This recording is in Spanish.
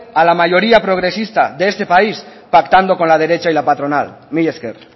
a la mayoría progresista de este país pactando con la derecha y la patronal mila esker